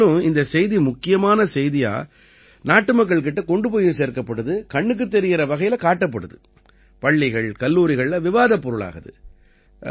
மேலும் இந்தச் செய்தி முக்கியச் செய்தியா நாட்டுமக்கள் கிட்ட கொண்டு போயும் சேர்க்கப்படுது கண்ணுக்குத் தெரியற வகையில காட்டப்படுது பள்ளிகள் கல்லூரிகள்ல விவாதப் பொருளாகுது